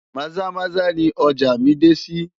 Maza-Maza ni ọjà mí dé sí.